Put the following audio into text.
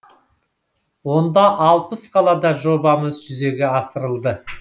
онда алпыс қалада жобамыз жүзеге асырылды